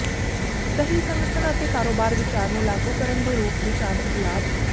ਸਹੀ ਸੰਗਠਨ ਅਤੇ ਕਾਰੋਬਾਰ ਵਿਚਾਰ ਨੂੰ ਲਾਗੂ ਕਰਨ ਦੇ ਰੂਪ ਵਿੱਚ ਆਰਥਿਕ ਲਾਭ